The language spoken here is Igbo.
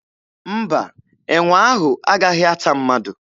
Mba, enwe ahụ agaghị ata mmadụ.